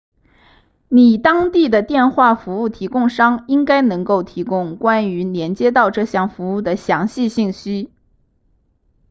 你当地的电话服务提供商应该能够提供关于连接到这项服务的详细信息